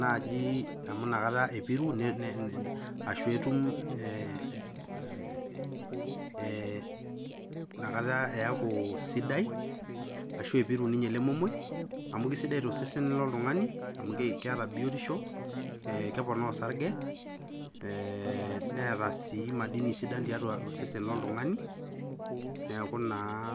naaji amu inakata epiru ashu etum eh, inakata eeku sidai ashu epiru ninye ele momoi amu kisidai tosesen loltung'ani amu keeta biotisho ekeponaa osarge eh, neeta sii madini sidan tiatua osesen olotung'ani neeku naa.